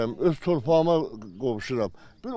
Öz torpağıma qovuşuram.